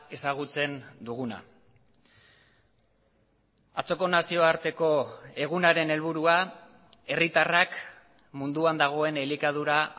ezagutzen duguna atzoko nazioarteko egunaren helburua herritarrak munduan dagoen elikadura